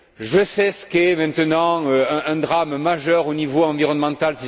Je sais ce qu'est maintenant un drame majeur au niveau environnemental.